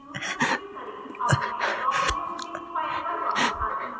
अब मैं blockmeshdict file पर वापस आती हूँ